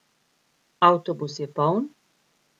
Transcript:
Avtobus je poln?